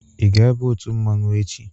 Ị ga aba otu mmanwu echi!